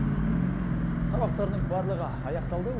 сабақтарының барлығы аяқталды